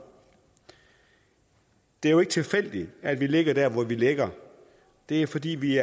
det er jo ikke tilfældigt at vi ligger der hvor vi ligger det er fordi vi